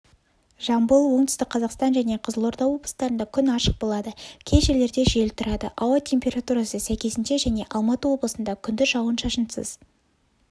жамбыл оңтүстік қазақстан және қызылорда облыстарында күн ашық болады кей жерлерде жел тұрады ауа температурасы сәйкесінше және алматы облысында күндіз жауын-шашынсыз